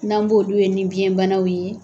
N'an b'olu ye ni biyɛn banaw ye